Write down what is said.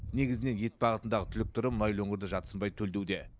негізінен ет бағытындағы түлік түрі мұнайлы өңірді жатсынбай төлдеуде